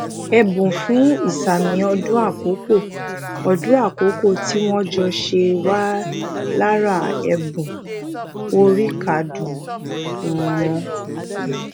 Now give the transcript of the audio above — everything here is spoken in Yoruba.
èbùn fún isami ọdun akoko ọdun akoko ti won jo se wa lara ebun oríkádún ùn won